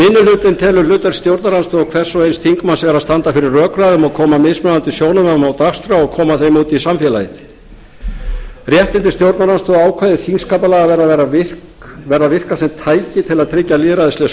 hlutinn telur hluta af stjórnarandstöðu hvers og eins þingmanns að standa fyrir rökræðum og koma mismunandi sjónarmiðum á dagskrá og koma þeim út í samfélagið réttindi stjórnarandstöðu og ákvæði þingskapalaga verða að vera virk sem tæki til að tryggja lýðræðisleg